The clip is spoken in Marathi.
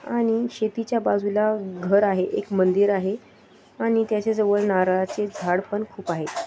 आणि शेतीच्या बाजूला घर आहे एक मंदिर आहे आणि त्याच्या जवळ नारळाचे झाड पण खूप आहे.